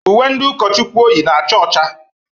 Uwe ndị ụkọchukwu o yi na-acha ọcha.